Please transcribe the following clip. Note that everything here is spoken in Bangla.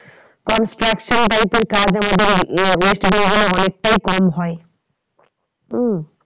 Construction type এর কাজ আমাদের west bengal এ অনেকটাই কম হয় উম